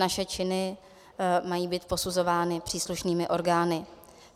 Naše činy mají být posuzovány příslušnými orgány.